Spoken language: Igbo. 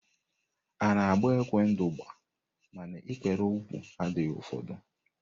A na-agba égwé ndụgba, mana ikpere úkwú adịghị afọdu.